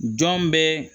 Jɔn bɛ